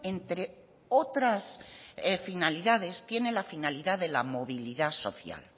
entre otras finalidades tiene la finalidad de la movilidad social